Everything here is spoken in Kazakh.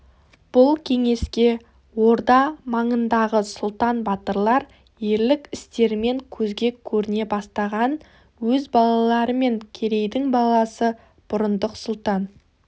бұл кеңеске орда маңындағы сұлтан батырлар ерлік істерімен көзге көріне бастаған өз балалары мен керейдің баласы бұрындық сұлтан